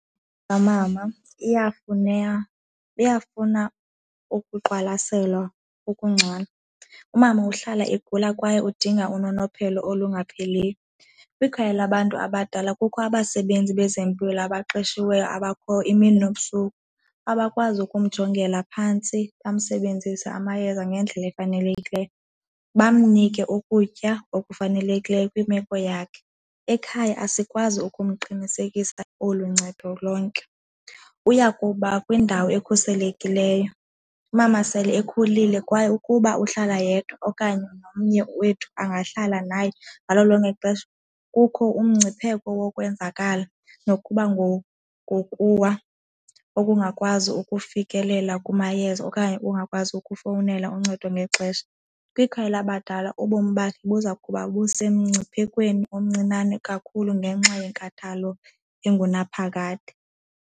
Mama iyafuna iyafuna ukuqwalaselwa ukungcono. Umama uhlala igula kwaye udinga unonophelo olungapheliyo. Kwikhaya labantu abadala kukho abasebenzi bezempilo abaqeshiweyo abakhoyo imini nobusuku, abakwazi ukumjongela phantsi basebenzise amayeza ngendlela efanelekileyo, bamnike ukutya okufanelekileyo kwimeko yakhe. Ekhaya asikwazi ukumqinisekisa olu ncedo lonke, uya kuba kwindawo ekhuselekileyo. Umama sele ekhulile kwaye ukuba uhlala yedwa okanye nomnye wethu angahlala naye ngalo lonke ixesha, kukho umngcipheko wokwenzakala nokuba ngowokuwa ukungakwazi ukufikelela kumayeza okanye ungakwazi ukufowunela uncedo ngexesha. Kwikhaya labadala ubomi bakhe buza kuba busemngciphekweni omncinane kakhulu ngenxa yenkathalo engunaphakade.